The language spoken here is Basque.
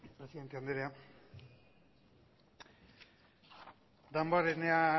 presidente anderea damborenea